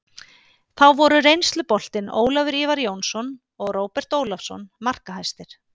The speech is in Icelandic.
Þá voru reynsluboltinn Ólafur Ívar Jónsson og Róbert Ólafsson markahæstir.